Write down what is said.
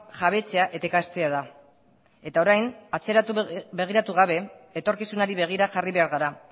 jabetzea eta ikastea da eta orain atzera begiratu gabe etorkizunari begira jarri behar gara